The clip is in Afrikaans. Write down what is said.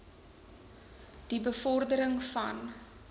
die bevordering van